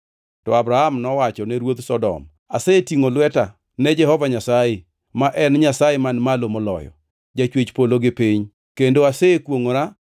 To Abram nowacho ne ruodh Sodom, “Asetingʼo lweta ne Jehova Nyasaye, ma en Nyasaye Man Malo Moloyo, Jachwech polo gi piny kendo asekwongʼora